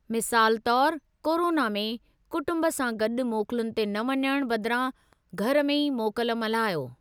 मिसाल तौरु कोरोना में, कुटुंब सां गॾु मोकलुनि ते न वञणु बदिरां घर में ई मोकल मल्हायो।